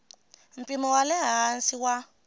mpimo wa le hansi wa